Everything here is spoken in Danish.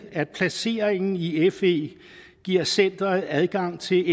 at placeringen i i fe giver centeret adgang til